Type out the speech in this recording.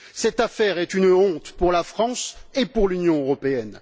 Cette affaire est une honte pour la France et pour l'Union européenne.